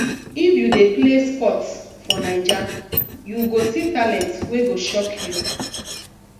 if you dey play sports for naija you go see talent wey go shock you